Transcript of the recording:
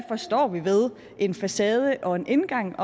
forstår ved en facade og en indgang